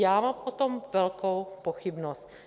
Já mám o tom velkou pochybnost.